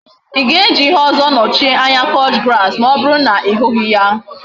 I ga eji ihe ozo nochie anya couch grass ma oburu na I hughi ya?